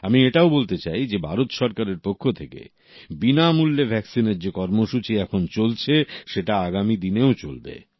আমি এটাও বলতে চাই যে ভারত সরকারের পক্ষ থেকে বিনামূল্যে ভ্যাকসিনের যে কর্মসূচি এখন চলছে সেটা আগামী দিনেও চলবে